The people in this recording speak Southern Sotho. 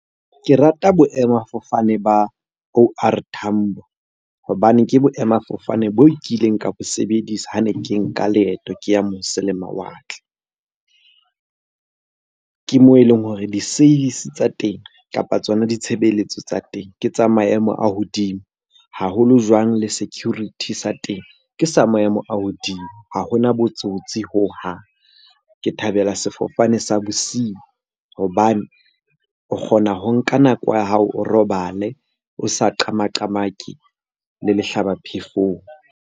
Ke rata boemafofane ba O_R Tambo hobane ke boemafofane bo kileng ka bo sebedisa ha ne ke nka leeto ke ya mose le mawatle. Ke moo e leng hore di-service tsa teng kapa tsona ditshebeletso tsa teng ke tsa maemo a hodimo. Haholo jwang le security sa teng, ke sa maemo a hodimo. Ha hona botsotsi hohang. Ke thabela sefofane sa bosiu hobane o kgona ho nka nako ya hao o robale, o sa qama-qamake le lehlaba phefong.